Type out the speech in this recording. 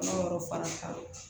yɔrɔ fana kan